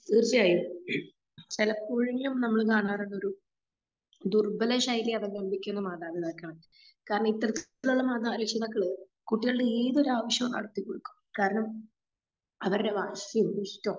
തീർച്ചയായും ചെലപ്പോഴെങ്കിലും നമ്മള് കാണാറുള്ളത് ദുർബല ശൈലി അധംമ്പിക്കുന്ന മാതാപിതാക്കളെയാണ്. കാരണം ഇത്തരത്തിലുള്ള മാതാ രക്ഷിതാക്കള് കുട്ടികളുടെ ഏതൊരാവശ്യവും നടത്തികൊടുക്കും. കാരണം അവരുടെ വാശി ഇഷ്ട്ടൊ